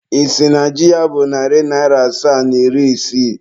Ị sị na ji a bụ narị naịra asaa na iri isii?